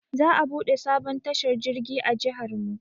Za a buɗe sabon tashar jirgi a jiharmu.